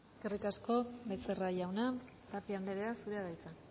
eskerrik asko becerra jauna tapia anderea zurea da hitza